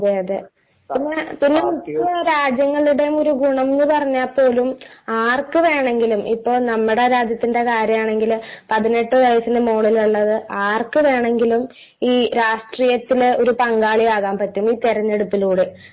അതെയതെ. പിന്നെ ഇപ്പൊ രാജ്യങ്ങളുടെ ഒരു ഗുണം എന്നുപറഞ്ഞാൽ പോലും ആർക്കുവേണമെങ്കിലും ഇപ്പൊ നമ്മുടെ രാജ്യത്തിന്റെ കാര്യമാണെങ്കില് പതിനെട്ടു വയസ്സിനു മുകളിലുള്ളത് ആർക്കു വേണമെങ്കിലും ഈ രാഷ്ട്രീയത്തില് ഒരു പങ്കാളി ആകാൻ പറ്റും ഈ തിരഞ്ഞെടുപ്പിലൂടെ.